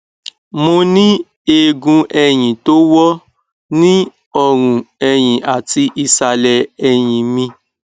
mo ní eegun ẹyìn tó wọ ní ọrùn ẹyì àti ìsàlẹ ẹyìn mi